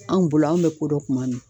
Anw bolo an be kodɔn tuma min